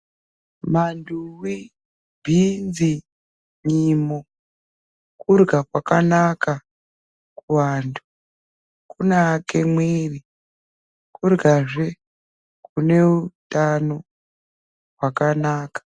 Vantu we bhinzi nyimo kurima kwakanaka kuvantu kunaka mwiri kurya zve kune hutano hwakanaka.